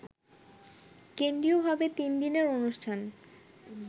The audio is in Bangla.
কেন্দ্রীয়ভাবে তিন দিনের অনুষ্ঠান